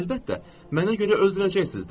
Əlbəttə, mənə görə öldürəcəksiz də.